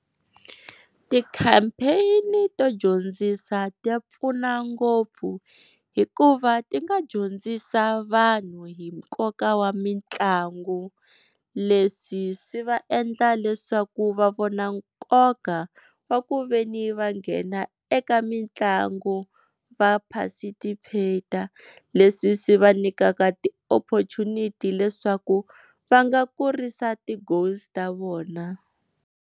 Ti-campaign-i to dyondzisa ti pfuna ngopfu hikuva ti nga dyondzisa vanhu hi nkoka wa mitlangu, leswi swi va endla leswaku va vona nkoka wa ku veni va nghena eka mitlangu va participate leswi swi va nyikaka ti-opportunity leswaku va nga kurisa ti-goals ta vona.